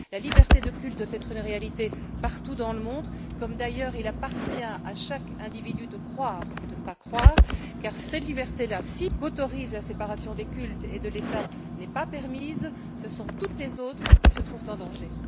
La liberté de culte doit être une réalité partout dans le monde, comme d'ailleurs il appartient à chaque individu de croire ou de ne pas croire car, si cette liberté qu'autorise la séparation des cultes et de l'État n'est pas permise, ce sont toutes les autres qui se trouvent en danger.